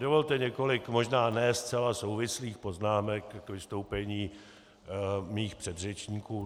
Dovolte několik, možná ne zcela souvislých poznámek k vystoupení mých předřečníků.